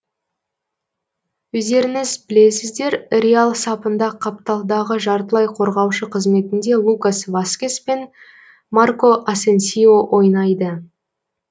өздеріңіз білесіздер реал сапында қапталдағы жартылай қорғаушы қызметінде лукас васкес пен марко асенсио ойнайды